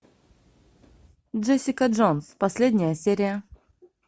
джессика джонс последняя серия